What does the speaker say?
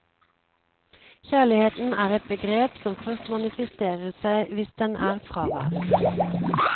Kjærligheten er et begrep som først manifesterer seg hvis den er fraværende.